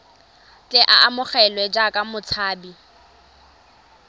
tle a amogelwe jaaka motshabi